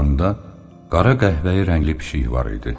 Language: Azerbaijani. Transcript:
Qucağında qara qəhvəyi rəngli pişiyi var idi.